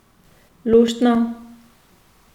Luštno.